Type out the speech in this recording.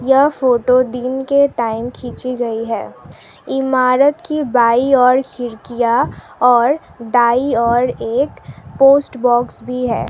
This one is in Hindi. यह फोटो दिन के टाइम खींची गई है इमारत की बाई ओर खिड़कियां और दाई ओर एक पोस्ट बॉक्स भी है।